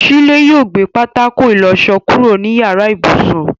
Shílé yóò gbé pátákó ìlọṣọ kúrò ní yàrá ibùsùn.